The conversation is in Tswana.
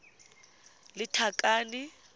lethakane